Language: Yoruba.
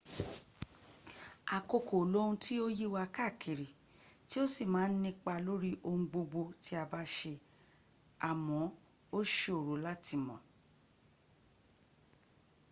àkókò loun tí ó yíwa káàkiri tí ó sì má ń nípa lórí ohun gbogbo tí a bá ṣe à mọ́ ó ṣòro láti mọ̀